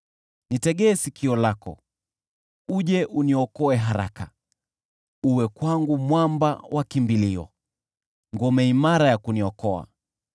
Nitegee sikio lako, uje uniokoe haraka; uwe kwangu mwamba wa kimbilio, ngome imara ya kuniokoa.